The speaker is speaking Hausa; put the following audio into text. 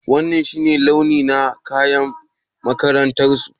Wanan shi ne launi na kayan makarantar su?